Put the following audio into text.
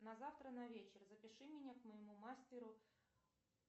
на завтра на вечер запиши меня к моему мастеру